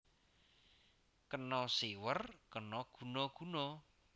Kena siwer kena guna guna